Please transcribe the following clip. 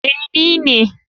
Ee, ni ne.